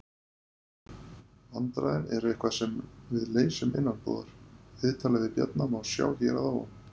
Vandræðin eru eitthvað sem við leysum innanbúðar. Viðtalið við Bjarna má sjá hér að ofan.